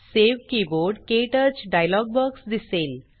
save keyboard - क्टच dialog box दिसेल